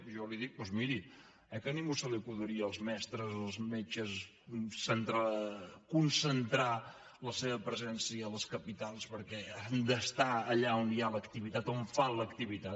jo li dic doncs miri eh que a ningú se li acudiria els mestres els metges concentrar la seva presència a les capitals perquè han d’estar allà on hi ha l’activitat on fan l’activitat